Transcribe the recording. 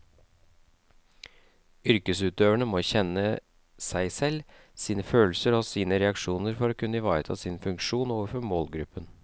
Yrkesutøverne må kjenne seg selv, sine følelser og sine reaksjoner for å kunne ivareta sin funksjon overfor målgruppen.